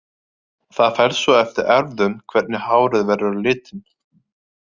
Það fer svo eftir erfðum hvernig hárið verður á litinn.